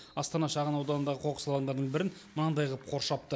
астана шағын ауданындағы қоқыс алаңдарының бірін мынандай ғып қоршапты